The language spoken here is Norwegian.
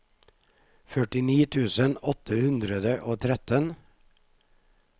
førtini tusen åtte hundre og tretten